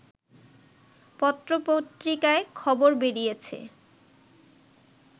পত্রপত্রিকায় খবর বেরিয়েছে